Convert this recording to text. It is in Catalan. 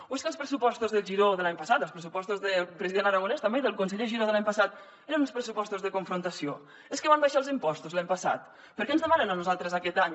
o és que els pressupostos del giró de l’any passat els pressupostos del president aragonès i també del conseller giró de l’any passat eren uns pressupostos de confrontació és que van abaixar els impostos l’any passat per què ens demanen a nosaltres aquest any